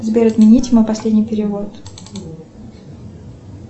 сбер отменить мой последний перевод